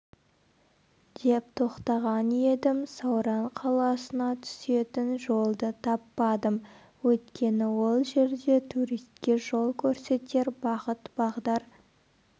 деп тоқтаған едім сауран қаласына түсетін жолды таппадым өйткені ол жерде туриске жол көрсетер бағыт-бағдар